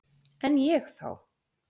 En ég þá?